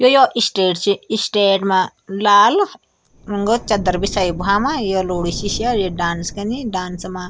यु यौ स्टेज च स्टेज मा लाल रांगक चद्दर बिछाई भूआमा या लोडी सि स्या डांस कनी डांस मा --